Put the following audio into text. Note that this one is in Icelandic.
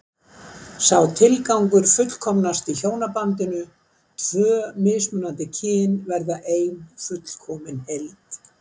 Sá tilgangur fullkomnast í hjónabandinu, tvö mismunandi kyn verða ein fullkomin heild.